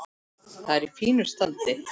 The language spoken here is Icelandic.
Það er í fínu standi.